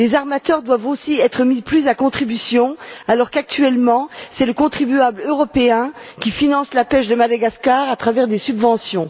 Les armateurs doivent aussi être mis plus à contribution alors qu'actuellement c'est le contribuable européen qui finance la pêche de Madagascar par l'intermédiaire de subventions.